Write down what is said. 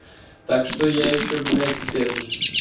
так что я ещё блять в этот